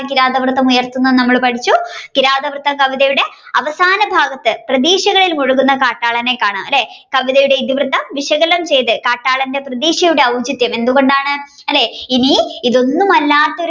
കിരാതവൃത്തം ഉയർത്തുന്നത് എന്ന് നമ്മൾ പഠിച്ചു കിരാതവൃത്ത കവിതയുടെ അവസാന ഭാഗത്തു പ്രതീക്ഷകളിൽ മുഴുകുന്ന കാട്ടാളനെ കാണാം അല്ലെ കവിതയുടെ വിശകലനം ചെയ്ത് കാട്ടാളന്റെ പ്രതീക്ഷയുടെ ഔചിത്യം എന്തുകൊണ്ടാണ് അല്ലെ ഇന്നി ഇതൊന്നും അല്ല